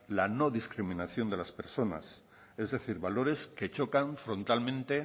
la no discriminación de las personas es decir valores que chocan frontalmente